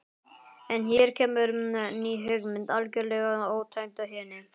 En hér kemur ný hugmynd, algjörlega ótengd hinni.